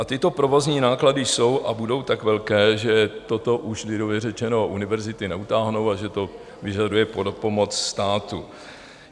A tyto provozní náklady jsou a budou tak velké, že toto už, lidově řečeno, univerzity neutáhnou a že to vyžaduje pomoc státu.